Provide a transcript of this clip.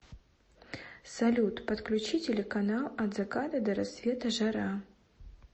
салют подключи телеканал от заката до рассвета жара